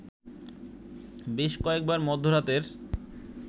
বেশ কয়েকবার মধ্যরাতের